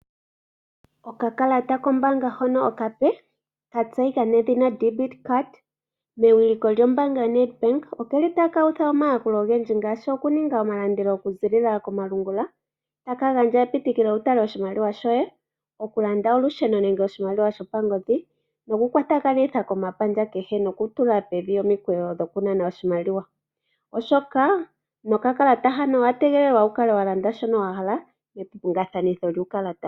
Okakalata kombaanga hono okape katseyika nedhina Debit card mewiliko lyombaanga yoNedBank okeli taka utha omayakulo ngaashi okuninga omalandelo okuziilila komalungula, taka gandja epitikilo wutale oshimaliwa shoye, okulanda olusheno nenge oshimaliwa shopangodhi nokukwatakanitha komapandja kehe nokutula pevi omikweyo dhokunana oshimaliwa, oshoka nokakalata hano owategelelwa wukale walanda shoka wahala mepingathano lyuukalata.